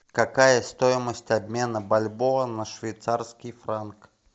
какая стоимость обмена бальбоа на швейцарский франк